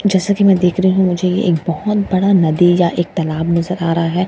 जैसे कि मैं देख रही हु मुझे ये एक बहोत बड़ा नदी या एक तालाब नजर आ रहा है।